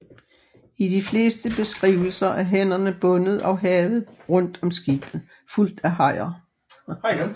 I de fleste beskrivelser er hænderne bundet og havet rundt om skibet fuldt af hajer